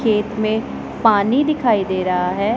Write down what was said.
खेत में पानी दिखाई दे रहा है।